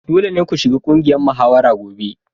Dole ne ku shiga ƙungiyar muhawara gobe!